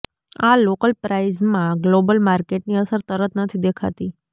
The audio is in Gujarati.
આ લોકલ પ્રાઈઝમાં ગ્લોબલ માર્કેટની અસર તરત નથી દેખાતી